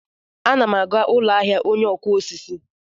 M na-aga ụlọ ahịa ọnye okụ osisi.